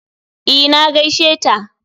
E, na gaisheta